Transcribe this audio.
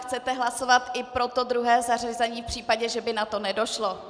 Chcete hlasovat i pro to druhé zařazení v případě, že by na to nedošlo.